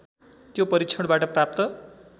त्यो परीक्षणबाट प्राप्त